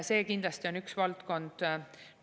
See kindlasti on üks valdkond.